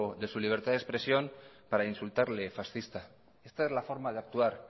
de su libertad de expresión para insultarle fascista esta es la forma de actuar